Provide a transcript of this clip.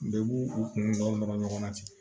Bɛɛ b'u u kunna nɔrɔ ɲɔgɔn na ten